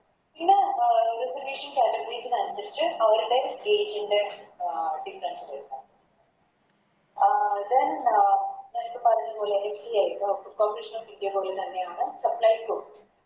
ഇന്ന് Information candidates ന് അനുസരിച്ച് അവരുടെ Age ൻറെ Difference വരുന്നണ് അഹ് Then നേരത്തെ പറഞ്ഞ പോലെ Corporation of india തന്നെയാണ് പ്പോ Supplyco